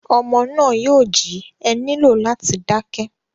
Ọmọ náà yóò jí, e nílò láti dá kẹ́.